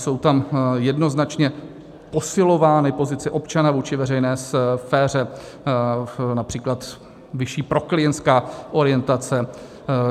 Jsou tam jednoznačně posilovány pozice občana vůči veřejné sféře, například vyšší proklientská orientace.